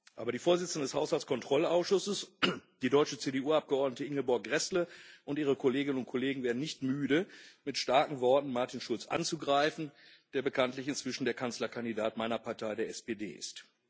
Aber die Vorsitzende des Haushaltskontrollausschusses, die deutsche CDU Abgeordnete Ingeborg Gräßle, und ihre Kolleginnen und Kollegen werden nicht müde, mit starken Worten Martin Schulz anzugreifen, der bekanntlich inzwischen der Kanzlerkandidat meiner Partei, der SPD, ist.